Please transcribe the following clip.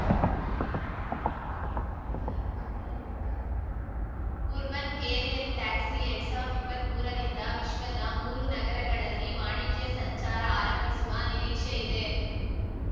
urban aerial taxi ಎರಡ್ ಸಾವಿರ್ದ್ ಇಪ್ಪತ್ಮೂರರಿಂದ ವಿಶ್ವದ ಮೂರು ನಗರಗಳಲ್ಲಿ ವಾಣಿಜ್ಯ ಸಂಚಾರ ಆರಂಭಿಸುವ ನಿರೀಕ್ಷೆ ಇದೆ